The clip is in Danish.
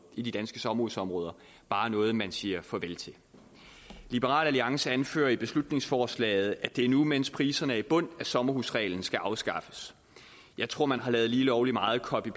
i de danske sommerhusområder bare noget man siger farvel til liberal alliance anfører i beslutningsforslaget at det er nu mens priserne er i bund at sommerhusreglen skal afskaffes jeg tror man her har lavet lige lovlig meget copy